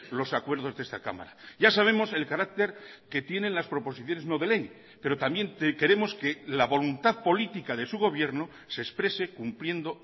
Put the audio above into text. los acuerdos de esta cámara ya sabemos el carácter que tienen las proposiciones no de ley pero también queremos que la voluntad política de su gobierno se exprese cumpliendo